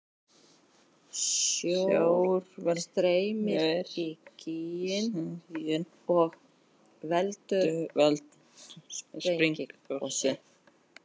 Sjór streymir í gíginn og veldur sprengigosi.